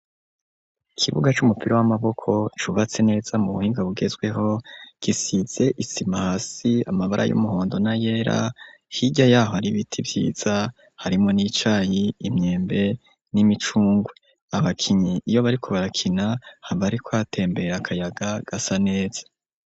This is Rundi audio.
Ikibuga c'umupira w'amaboko cubatse neza mu buhinga bugezweho, gisize isima hasi, amabara y'umuhondo na yera, hirya yaho ari biti vyiza harimwo n'icayi, imyembe ,n'imicungwe. Abakinyi iyo bariko barakina haba hariko hatembera akayaga gasa neza.